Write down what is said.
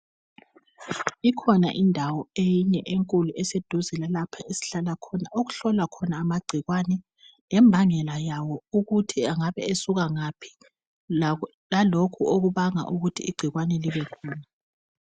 Ikhona indawo eyinye enkulu eseduze lalapho esihlala khona okuhlolwa khona amagcikwane lembangela yawo ukuthi engabe esuka ngaphi lalokhu okubanga ukuthi igcikwane libekhona.